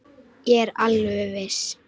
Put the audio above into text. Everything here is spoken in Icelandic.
Ég er alveg viss.